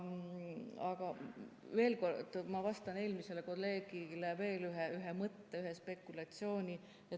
Aga veel kord, ma annan eelmisele kolleegile veel ühe mõtte, ühe spekulatsiooni.